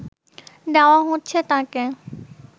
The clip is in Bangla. দেওয়া হচ্ছে তাকে